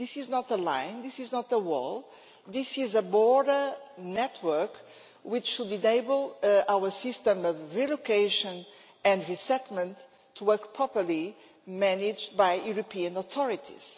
This is not a line, this is not a wall, this is a border network which should enable our system of relocation and resettlement to work properly, managed by European authorities.